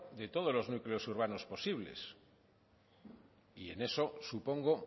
de todos los núcleos urbanos posibles en eso supongo